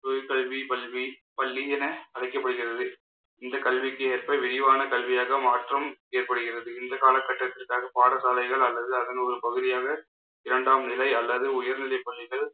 உயர் கல்வி பல்வி~ பள்ளி என அழைக்கப்படுகிறது. இந்த கல்விக்கு ஏற்ப விரிவான கல்வியாக மாற்றம் ஏற்படுகிறது இந்த காலகட்டத்திற்காக பாடசாலைகள் அல்லது அதன் ஒரு பகுதியாக இரண்டாம் நிலை அல்லது உயர்நிலைப்பள்ளிகள்